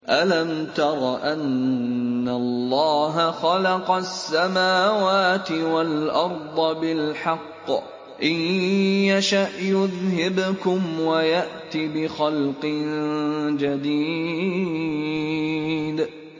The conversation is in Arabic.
أَلَمْ تَرَ أَنَّ اللَّهَ خَلَقَ السَّمَاوَاتِ وَالْأَرْضَ بِالْحَقِّ ۚ إِن يَشَأْ يُذْهِبْكُمْ وَيَأْتِ بِخَلْقٍ جَدِيدٍ